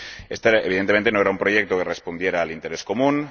Este, evidentemente, no era un proyecto que respondiera al interés común.